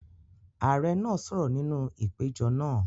Ààrẹ náà sọ̀rọ̀ nínú ìpéjọpọ̀ náà.